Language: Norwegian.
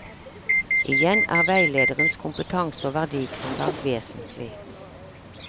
Igjen er veilederens kompetanse og verdigrunnlag vesentlig.